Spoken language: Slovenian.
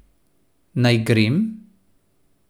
Naj grem?